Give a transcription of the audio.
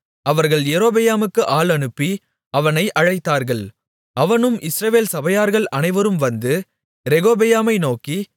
அவர்கள் யெரொபெயாமுக்கு ஆள் அனுப்பி அவனை அழைத்தார்கள் அவனும் இஸ்ரவேல் சபையார்கள் அனைவரும் வந்து ரெகொபெயாமை நோக்கி